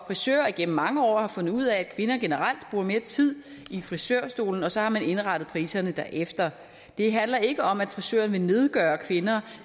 frisører igennem mange år har fundet ud af at kvinder generelt bruger mere tid i frisørstolen og så har man indrettet priserne derefter det handler ikke om at frisøren vil nedgøre kvinder